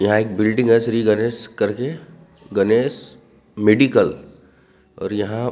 यहाँ एक बिल्डिंग है श्री गणेश करके गणेश मेडिकल और यहाँ।